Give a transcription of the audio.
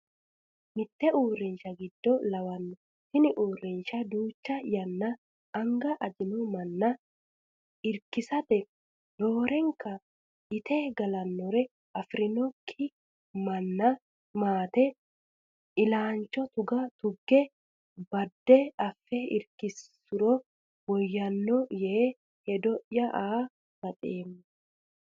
Mite uurrinsha giddo lawano, tini uurrisha duucha yanna anga ajinonsa manna irkisanote roorenka itte galtanore affidhinokki maate illacha tuge badde affe irkisuro woyyano yee hedo'ya aa baxeemmo.